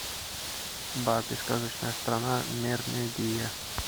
барби сказочная страна мермедия